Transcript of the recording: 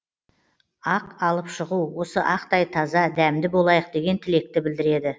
ақ алып шығу осы ақтай таза дәмді болайық деген тілекті білдіреді